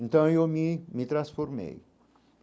Então, eu me me transformei.